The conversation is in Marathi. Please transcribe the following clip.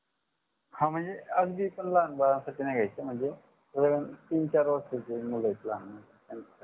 हा म्हणजे अगदी पण लहान बाळांसाठी नाही घ्याच म्हणजे तीन चार वर्षाच्या मुलं आहेत लहान